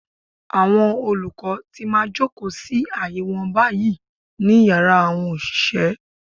Àwọn olùkọ́ ti máa jòkó sí àyè wọn báyìí. ní Yàrá àwọn òṣìṣẹ́.